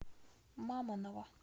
мамоново